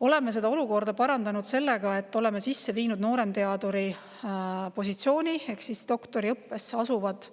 Oleme seda olukorda parandanud sellega, et oleme sisse viinud nooremteaduri positsiooni ehk doktoriõppesse asuvad